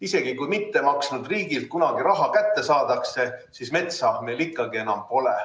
Isegi kui mittemaksnud riigilt kunagi raha kätte saadakse, siis metsa meil ikkagi enam pole.